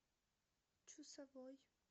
чусовой